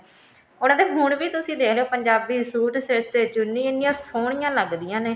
ਉਹਨਾ ਦੇ ਹੁਣ ਵੀ ਤੁਸੀਂ ਦੇਖਲੋ ਪੰਜਾਬੀ suit ਸਿਰ ਤੇ ਚੁੰਨੀ ਇੰਨੀਆ ਸੋਹਣੀਆ ਲੱਗਦੀਆਂ ਨੇ